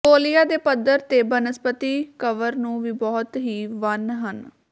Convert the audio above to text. Mongolia ਦੇ ਪੱਧਰੇ ਦੇ ਬਨਸਪਤੀ ਕਵਰ ਨੂੰ ਵੀ ਬਹੁਤ ਹੀ ਵੰਨ ਹਨ